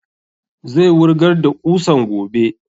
Zai wurgar da ƙusan gobe